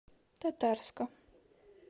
татарска